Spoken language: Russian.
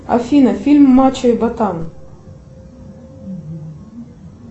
афина фильм мачо и ботан